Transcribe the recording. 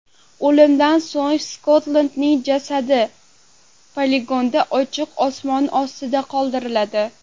O‘limdan so‘ng Skottning jasadi poligonda ochiq osmon ostida qoldiriladi.